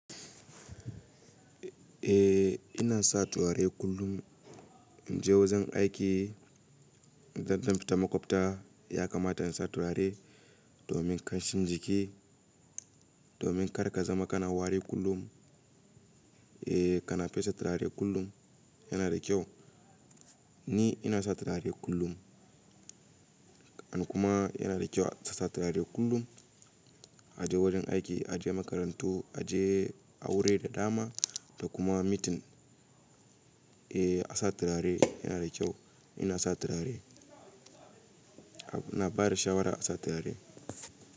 Eh ina sa turare kullum in je wajen aiki, idan zan fita makwabta ya kamata in sa turare domin kanshin jiki, domin kar ka zama kana wari kullum. Eh kana fesa turare kullum yana da kyau. Ni ina sa turare kullum an kuma yana da kyau a sa turare kullum a je wurin aiki, a je makarantu, a je aure da dama da kuma meeting. Eh a sa turare yana da kyau. Ina sa turare. I na bada shawara a sa turare.